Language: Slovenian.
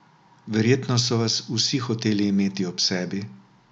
Verjetno so vas vsi hoteli imeti ob sebi?